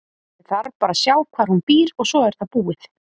Ég þarf bara að sjá hvar hún býr og svo er það búið.